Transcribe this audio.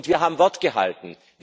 Und wir haben Wort gehalten.